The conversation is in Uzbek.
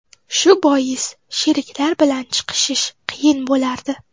Shu bois sheriklar bilan chiqishish qiyin bo‘lardi.